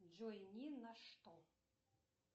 джой ни на что